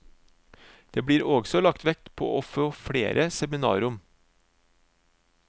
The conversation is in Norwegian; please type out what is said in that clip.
Det blir også lagt vekt på å få flere seminarrom.